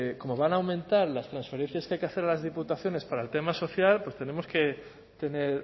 como van a aumentar las transferencias que hay que hacer a las diputaciones para el tema social pues tenemos que tener